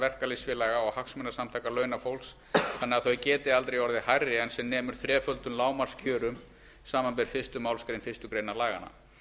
verkalýðsfélaga og hagsmunasamtaka launafólks þannig að þau geti aldrei orðið hærri en sem nemur þreföldum lágmarkskjörum samanber fyrstu málsgrein fyrstu grein laganna